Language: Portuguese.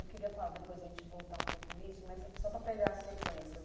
Eu queria falar, depois a gente voltar um pouco nisso, mas só para pegar a sequência.